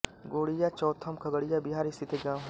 गोढिया चौथम खगड़िया बिहार स्थित एक गाँव है